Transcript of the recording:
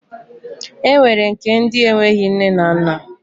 E nwere nke ndi enweghị nne na nna.